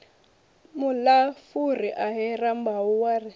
muilafuri ahee rambau wa ri